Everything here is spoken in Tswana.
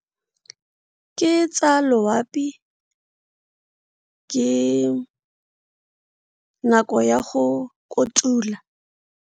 Ke tsa loapi, ke nako ya go kotula.